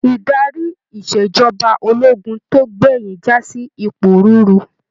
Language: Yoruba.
Idarí ìṣèjọba ológun tó gbẹyin jasi iporuuru.